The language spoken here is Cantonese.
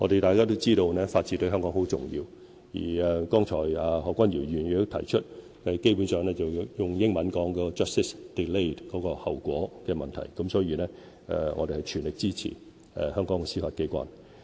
大家也知道，法治對香港十分重要，而剛才何君堯議員也指出，基本上用英文表達是 "justice delayed" 的後果的問題，所以我們會全力支持香港的司法機關。